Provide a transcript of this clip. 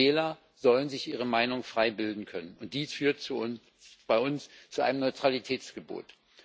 Wähler sollen sich ihre Meinung frei bilden können, und dies führt bei uns zu einem Neutralitätsgebot.